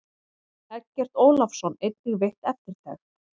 Eggert Ólafsson einnig veitt eftirtekt.